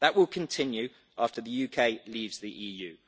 That will continue after the UK leaves the EU.